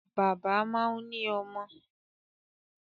Bàbá máa ń ní ọmọ.